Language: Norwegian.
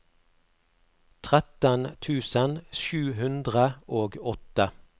tretten tusen sju hundre og åtte